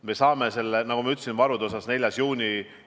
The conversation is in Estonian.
Me saame, nagu ma ütlesin, varude ülevaate 4. juunil.